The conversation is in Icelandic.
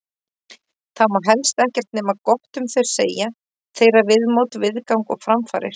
Það má helst ekkert nema gott um þau segja, þeirra viðmót, viðgang og framfarir.